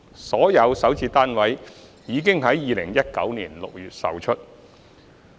所有首置單位已於2019年6月售出。